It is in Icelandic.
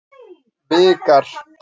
Vikar